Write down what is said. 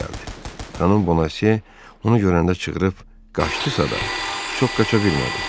Xanım Bonasie onu görəndə çığırıb qaçdısa da, çox qaça bilmədi.